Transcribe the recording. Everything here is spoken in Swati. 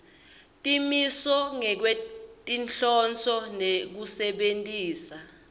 temisho ngekwetinhloso tekusebentisa